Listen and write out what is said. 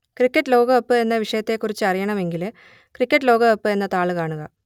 cricket ലോകകപ്പ് എന്ന വിഷയത്തെക്കുറിച്ച് അറിയണമെങ്കിൽ ക്രിക്കറ്റ് ലോകകപ്പ് എന്ന താൾ കാണുക